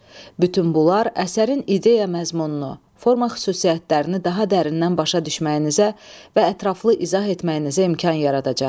Bütün bunlar əsərin ideya məzmununu, forma xüsusiyyətlərini daha dərindən başa düşməyinizə və ətraflı izah etməyinizə imkan yaradacaq.